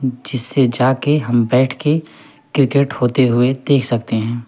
जिसे जा के हम बैठ के क्रिकेट होते हुए देख सकते हैं।